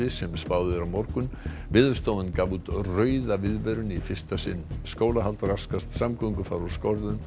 sem spáð er á morgun Veðurstofan gaf út rauða viðvörun í fyrsta sinn skólahald raskast samgöngur fara úr skorðum